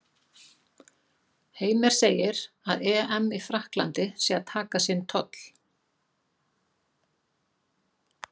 Heimir segir að EM í Frakklandi sé að taka sinn toll.